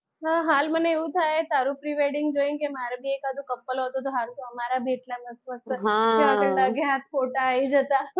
હા હાલ મને એવું થાય કે તારું pre-wedding જોઈને મારુ પણ એકાદૂ couple હોત તો સારું તો અમારા બી એટલા મસ્ત મસ્ત જ્યાં લગે હાથ photo આવી જાતા.